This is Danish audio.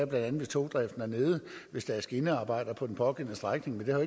bla hvis togdriften er nede eller hvis der er skinnearbejder på den pågældende strækning men det har